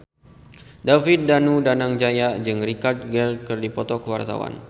David Danu Danangjaya jeung Richard Gere keur dipoto ku wartawan